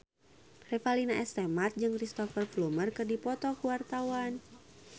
Revalina S. Temat jeung Cristhoper Plumer keur dipoto ku wartawan